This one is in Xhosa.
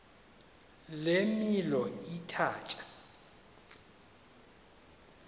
le milo ithatya